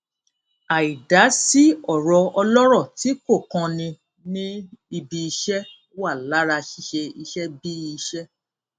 àì dá sí ọrọ ọlọrọ tí kò kan ni ní ibiiṣẹ wà lára ṣíṣe iṣẹ bí i iṣẹ